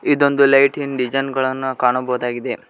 ಇದೊಂದ್ lighting design ಗಳನ್ನ ಕಾಣಬಹುದಾಗಿದೆ.